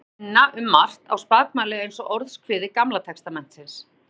Munnmælin minna um margt á spakmæli eins og Orðskviði Gamla testamentisins.